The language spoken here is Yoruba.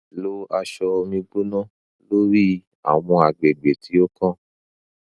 lo aṣọ omi gbona lori awọn agbegbe ti o kan